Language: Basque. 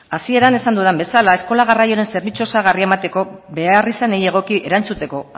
hasieran esan dudan bezala eskola garraioaren zerbitzu osagarria emateko beharrizanei egoki erantzuteko